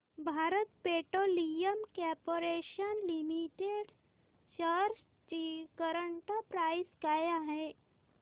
Bharat petroleum corporation limited shares ची current price काय आहे